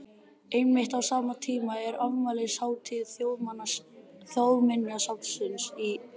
Einmitt á sama tíma er afmælishátíð Þjóðminjasafnsins í